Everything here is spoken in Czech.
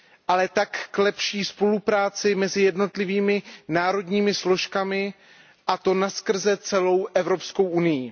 ale také k lepší spolupráci mezi jednotlivými národními složkami a to napříč celou Evropskou unií.